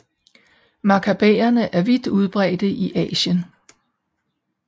Makakaberne er vidt udbredte i Asien